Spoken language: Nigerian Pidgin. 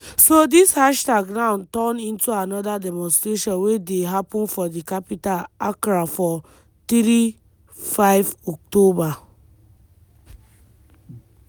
on x (formerly twitter) many young pipo jump on di hashtag wey dem call on goment to ban illegal mining and declare state of emergency.